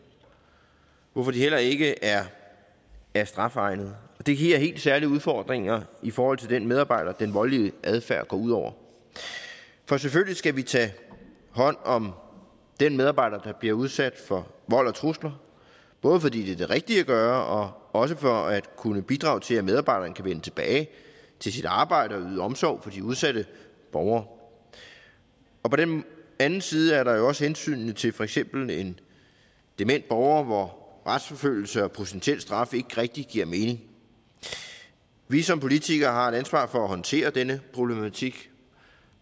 hvorfor de heller ikke er er strafegnede det giver helt særlige udfordringer i forhold til den medarbejder som den voldelige adfærd går ud over for selvfølgelig skal vi tage hånd om den medarbejder der bliver udsat for vold og trusler både fordi det rigtige at gøre og også for at kunne bidrage til at medarbejderen kan vende tilbage til sit arbejde og yde omsorg for de udsatte borgere på den anden side er der jo også hensynet til for eksempel en dement borger hvor retsforfølgelse og potentiel straf ikke rigtig giver mening vi som politikere har et ansvar for at håndtere denne problematik